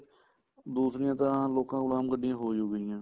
ਦੂਸਰੀਆਂ ਤਾਂ ਲੋਕਾਂ ਕੋਲ ਆਮ ਗੱਡੀਆਂ ਹੋ ਹੀ ਗਈਆਂ